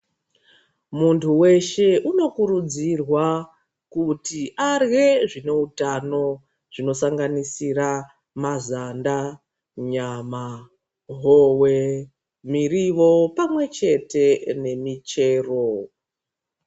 Muntu weshe unokurudzirwa kuti arye zvinoutano zvinosanganisira mazanda, nyama howe ,miriwo pamwechete nemichero.